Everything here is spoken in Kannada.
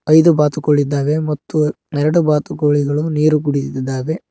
ಐದು ಬಾತುಕೋಳಿ ಇದ್ದಾವೆ ಮತ್ತು ಎರಡು ಬಾತುಕೋಳಿಗಳು ನೀರು ಕುಡಿಯುತ್ತಿದ್ದಾವೆ.